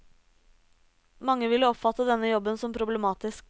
Mange ville oppfattet denne jobben som problematisk.